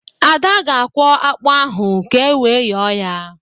Ada ga-akwọ ákpụ́ ahụ ka ewe yọọ ya